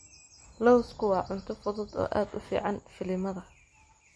Lawsku waa cunto fudud oo aad u fiican filimada.